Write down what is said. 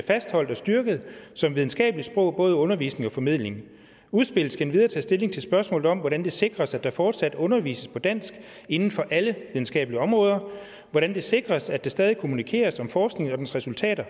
fastholdt og styrket som videnskabeligt sprog både i undervisning og formidling udspillet endvidere tage stilling til spørgsmålet om hvordan det sikres at der fortsat undervises på dansk inden for alle videnskabelige områder hvordan det sikres at der stadig kommunikeres om forskningen og dens resultater